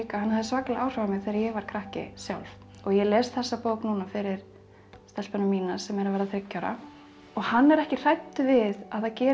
hann hafði svakaleg áhrif á mig þegar ég var krakki og ég les þessa bók núna fyrir stelpuna mína sem er að verða þriggja ára og hann er ekki hræddur við að það gerist